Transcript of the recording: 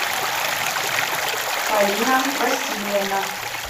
полина васильевна